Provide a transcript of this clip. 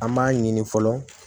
An b'a ɲini fɔlɔ